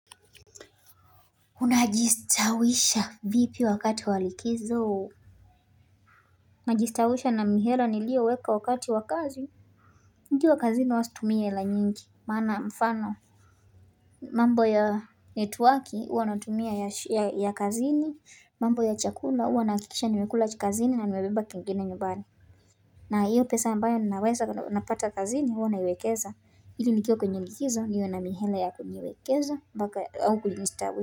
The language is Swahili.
Unajistawisha vipi wakati walikizo najistawisha na mihela niliyo weka wakati wakazi nikiwa kazini huwa situmii hela nyingi maana mfano mambo ya network huwa natumia ya kazini mambo ya chakula huwa ninahakikisha nimekula cha kazini na nimebeba kingine nyumbani na hiyo pesa ambayo ninaweza napata kazini huwa naiwekeza hili nikiwa kwenye likizo niwe na mihela ya kuniwekeza au kujistawisha.